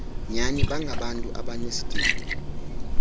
nyani bangabantu abanesidima